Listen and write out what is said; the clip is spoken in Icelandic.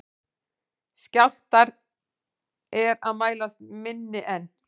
Skjálftar er mælast minni en